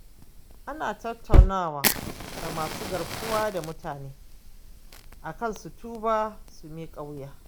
Ana tattaunawa da masu garkuwa da mutane, akan su tuba su miƙa wuya.